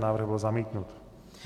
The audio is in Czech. Návrh byl zamítnut.